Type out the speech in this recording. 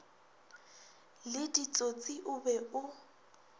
le ditsotsi o be o